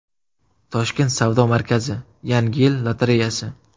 Toshkent savdo markazi: Yangi yil lotereyasi.